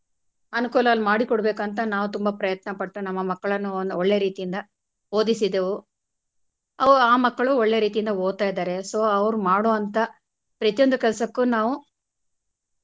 ಅನುಕೂಲವನ್ನು ಮಾಡಿಕೊಡ್ಬೇಕಾಂತ ನಾವು ತುಂಬಾ ಪ್ರಯತ್ನ ಪಟ್ಟು ನಮ್ಮ ಮಕ್ಕಳನ್ನು ನಾವು ಒಳ್ಳೆ ರೀತಿಯಿಂದ ಓದಿಸಿದೆವು ಅವು ಆ ಮಕ್ಕಳು ಒಳ್ಳೆ ರೀತಿಯಿಂದ ಓದ್ತ ಇದ್ದಾರೆ so ಅವ್ರು ಮಾಡುವಂತಾ ಪ್ರತಿಯೊಂದು ಕೆಲಸಕ್ಕೂ ನಾವು.